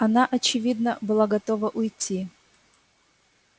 она очевидно была готова уйти